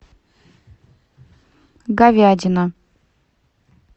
говядина